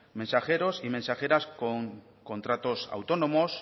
mensajeros y mensajeras con contratos autónomos